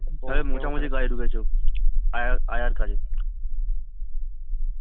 তাহলে মোছামুছির কাজে ঢুকেছে ও আয়া আয়ার কাজে